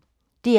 DR P1